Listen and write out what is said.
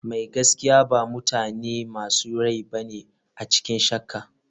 Mai gaskiya ba mutane masu rai bane a cikin shakka.